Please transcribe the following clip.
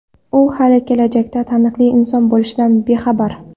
U hali kelajakda taniqli inson bo‘lishdan bexabar.